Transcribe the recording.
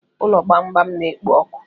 Ulọ gbamgbam na-ekpo ọkụ